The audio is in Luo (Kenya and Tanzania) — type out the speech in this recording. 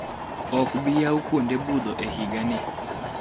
Ok bi yaw kunode budho e higani.